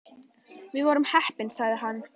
Þar vorum við heppin sagði hann.